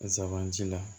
Zaban ci la